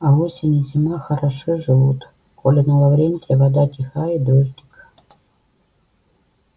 а осень и зима хороши живут коли на лаврентия вода тиха и дождик